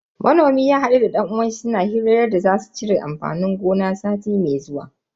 Manomin ya hadu da dan uwanshi suna hirar yadda za su cire amfanin gona sati mai zuwa.